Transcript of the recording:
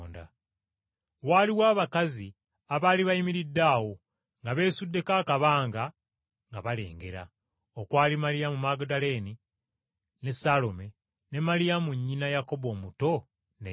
Waaliwo abakazi abaali bayimiridde awo nga beesuddeko akabanga nga balengera, okwali Maliyamu Magudaleene, ne Saalome ne Maliyamu nnyina Yakobo omuto ne Yose.